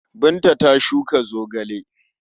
Binta ta shuka zogale.